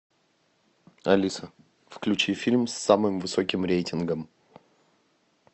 алиса включи фильм с самым высоким рейтингом